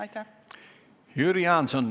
Nüüd Jüri Jaanson.